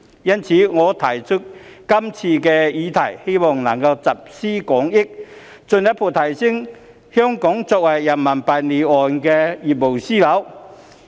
因此，我提出今次的議案，希望能夠集思廣益，進一步提升香港作為人民幣離岸業務樞紐的地位。